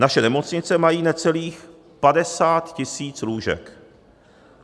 Naše nemocnice mají necelých 50 tisíc lůžek.